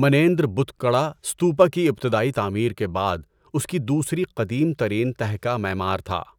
منیندر بت کڑہ استوپا کی ابتدائی تعمیر کے بعد اس کی دوسری قدیم ترین تہہ کا معمار تھا۔